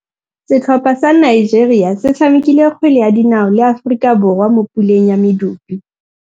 Setlhopha sa Nigeria se tshamekile kgwele ya dinaô le Aforika Borwa mo puleng ya medupe.